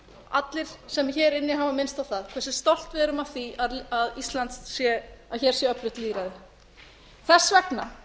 allir sem hér eru inni hafa minnst á það hversu stolt við erum af því að hér sé öflugt lýðræði þess vegna